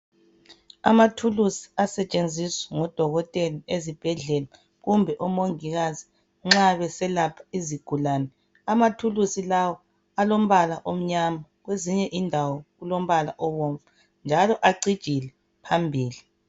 Amathulusi asetshenziswa ngodokotela ezibhedlela kumbe omongikazi. Nxa beselapha izigulane, amathulusi lawa alombala omnyama kwezinye indawo alombala obomvu njalo acijile phambili.